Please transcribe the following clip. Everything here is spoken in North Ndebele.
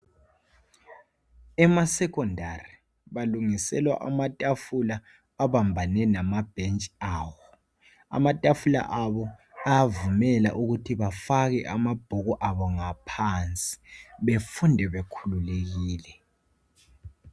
Emasekhondari balungiselwa amatafula abambane lamabhentshi awo. Amatafula la ayavumela ukuthi bafake amabhuku abo ngaphansi bafunde bekhululekile.